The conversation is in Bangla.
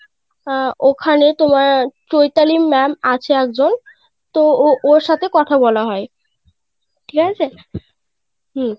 আহ ওখানে তোমার চৈতালি ma'am আছে একজন তো ও ওর সাথে কথা বলা হয় ঠিকাছে, হুম.